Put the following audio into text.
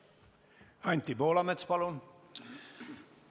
Anti Poolamets, palun!